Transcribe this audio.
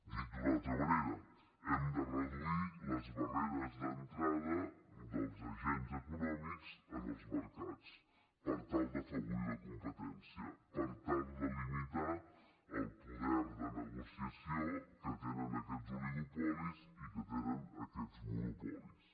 dit d’una altra manera hem de reduir les barreres d’entrada dels agents econòmics en els mercats per tal d’afavorir la competència per tal de limitar el poder de negociació que tenen aquests oligopolis i que tenen aquests monopolis